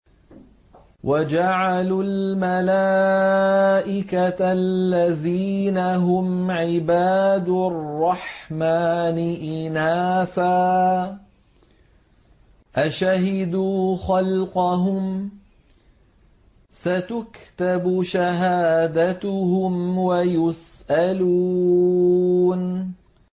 وَجَعَلُوا الْمَلَائِكَةَ الَّذِينَ هُمْ عِبَادُ الرَّحْمَٰنِ إِنَاثًا ۚ أَشَهِدُوا خَلْقَهُمْ ۚ سَتُكْتَبُ شَهَادَتُهُمْ وَيُسْأَلُونَ